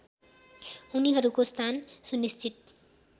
उनीहरूको स्थान सुनिश्चित